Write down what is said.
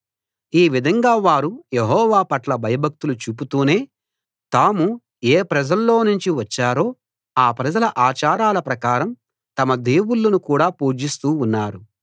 ఈ విధంగా వారు యెహోవా పట్ల భయభక్తులు చూపుతూనే తాము ఏ ప్రజల్లో నుంచి వచ్చారో ఆ ప్రజల ఆచారాల ప్రకారం తమ దేవుళ్ళను కూడా పూజిస్తూ ఉన్నారు